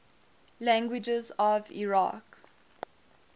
languages of iraq